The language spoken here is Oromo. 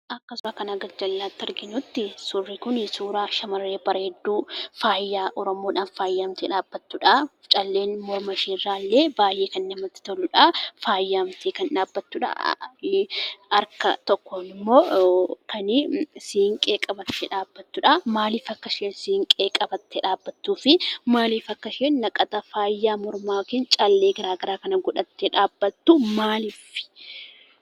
Akka suuraa kana gajjallatti arginutti suurri kun suuraa shamarre bareeddu faaya oromoodhan faayamte dhabbattudha, calleen morma isheerra illee baay'ee kan namatti toludha. Faayaamte kan dhabbattudha harkaa tokkon immo kan siinqee qabatte dhabbattu dhabbattudha.